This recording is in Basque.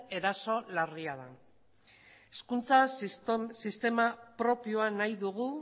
eraso larria da hezkuntza sistema propioa nahi dugu